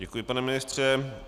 Děkuji, pane ministře.